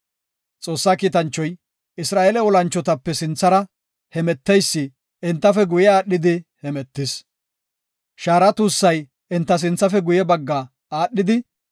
Xoossaa kiitanchoy, Isra7eele olanchotape sinthara hemeteysi entafe guye aadhidi hemetis. Shaara tuussay enta sinthafe guye bagga aadhidi,